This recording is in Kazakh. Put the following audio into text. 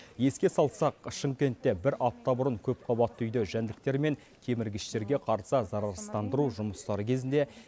еске салсақ шымкентте бір апта бұрын көпқабатты үйде жәндіктер мен кеміргіштерге қарсы зарарсыздандыру жұмыстары кезінде